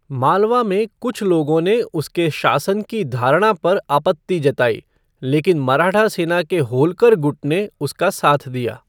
मालवा में कुछ लोगों ने उसके शासन की धारणा पर आपत्ति जताई, लेकिन मराठा सेना के होल्कर गुट ने उसका साथ दिया।